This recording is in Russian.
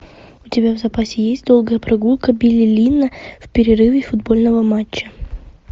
у тебя в запасе есть долгая прогулка билли линна в перерыве футбольного матча